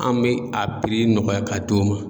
An bɛ a nɔgɔya ka d'o ma.